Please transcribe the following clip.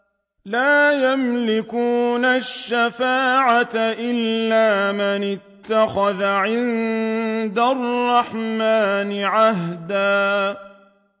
لَّا يَمْلِكُونَ الشَّفَاعَةَ إِلَّا مَنِ اتَّخَذَ عِندَ الرَّحْمَٰنِ عَهْدًا